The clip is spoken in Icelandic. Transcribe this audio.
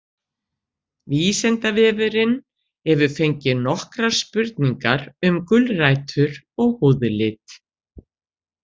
Vísindavefurinn hefur fengið nokkrar spurningar um gulrætur og húðlit.